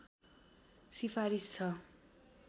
सिफारिस छ